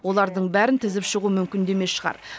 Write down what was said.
олардың бәрін тізіп шығу мүмкін де емес шығар